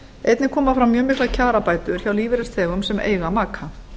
einnig koma fram mjög miklar kjarabætur hjá lífeyrisþegum sem eiga maka